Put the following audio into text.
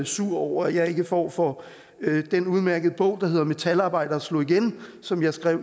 sur over at jeg ikke får for den udmærkede bog der hedder metalarbejdere slog igen som jeg skrev